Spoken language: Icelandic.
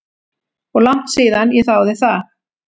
Og langt síðan ég þáði það.